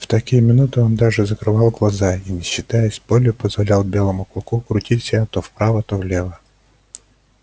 в такие минуты он даже закрывал глаза и не считаясь с болью позволял белому клыку крутить себя то вправо то влево